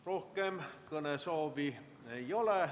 Rohkem kõnesoovi ei ole.